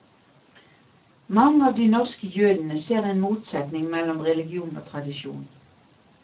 Mange av de norske jødene ser en motsetning mellom religion og tradisjon.